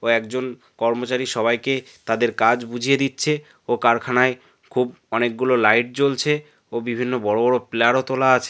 কয়েকজন কর্মচারী সবাইকে তাদের কাজ বুঝিয়ে দিচ্ছে ও কারখানায় খুব অনেকগুলো লাইট জ্বলছে ও বিভিন্ন বড়ো বড়ো পিলার -ও তোলা আছে।